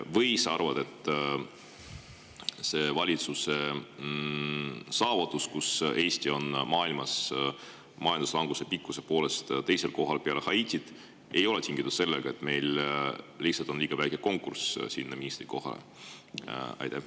Või sa arvad, et see valitsuse saavutus, et Eesti on majanduslanguse pikkuse poolest maailmas teisel kohal peale Haitit, ei ole tingitud sellest, et meil on lihtsalt liiga väike konkurss ministrikohale?